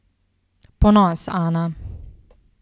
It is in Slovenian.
Ponos, Ana.